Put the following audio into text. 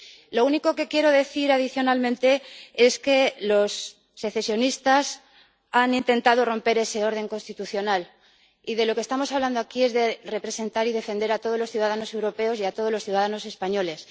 Lo único que quiero decir adicionalmente es que los secesionistas han intentado romper ese orden constitucional, y de lo que estamos hablando aquí es de representar y defender a todos los ciudadanos europeos y a todos los ciudadanos españoles.